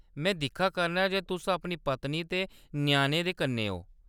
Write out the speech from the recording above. में दिक्खा करनां जे तुस अपनी पत्नी ते ञ्याणें दे कन्नै ओ।